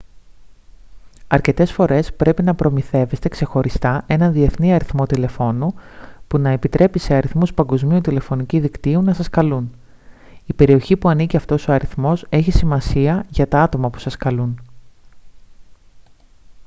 αρκετές φορές πρέπει να προμηθεύεστε ξεχωριστά έναν διεθνή αριθμό τηλεφώνου που να επιτρέπει σε αριθμούς παγκόσμιου τηλεφωνικού δικτύου να σας καλούν η περιοχή που ανήκει αυτός ο αριθμός έχει σημασία για τα άτομα που σας καλούν